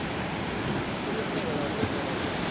कोणीच नाही का धावपळ करायला?